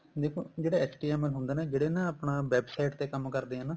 ਦੇਖੋ ਜਿਹੜਾ HTML ਹੁੰਦਾ ਨਾ ਜਿਹੜੇ ਨਾ ਆਪਣਾ website ਤੇ ਕੰਮ ਕਰਦੇ ਏ ਨਾ